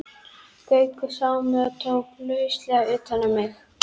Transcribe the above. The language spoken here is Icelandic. Gaukur sá mig og tók lauslega utan um mig.